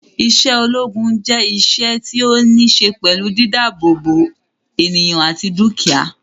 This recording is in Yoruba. Isé ológun je iṣẹ́ tí o ni se pẹlú dídá àbò bo ènìyàn àti dukia